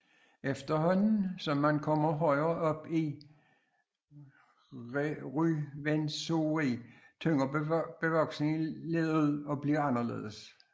Efterhånden som man kommer højere op i Ruwenzori tynder bevoksningen lidt ud og bliver anderledes